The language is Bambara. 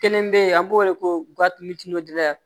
Kelen bɛ yen an b'o wele ko gafe